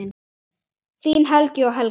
Þín Helgi og Helga.